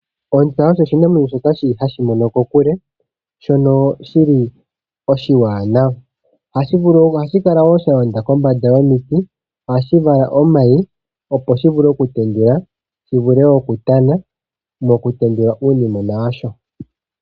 Ontsa osho oshinamwenyo shoka shili hashi mono kokule shono shili oshiwanawa. Ohashi kala woo shalonda kombanda yomiti . Ohashi vala omayi opo shivule oku tendula ,shivule oku indjipala mo ku tendula uunimwena washo.